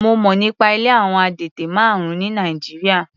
Mo mọ̀ nípa ilé àwọn adẹ́tẹ̀ márùn-ún ní Nàìjíríà.